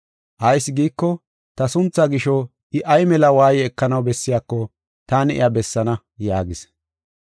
Ayis giiko, ta sunthaa gisho, I ay mela waaye ekanaw bessiyako taani iya bessaana” yaagis.